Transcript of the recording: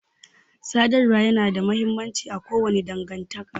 Sadarwa ya na da mahimmanci a kowace dangantaka